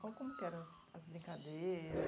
Como como que eram as brincadeiras?